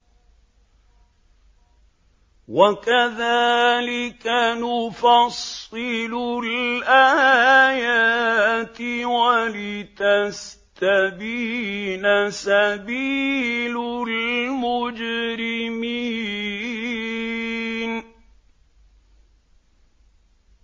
وَكَذَٰلِكَ نُفَصِّلُ الْآيَاتِ وَلِتَسْتَبِينَ سَبِيلُ الْمُجْرِمِينَ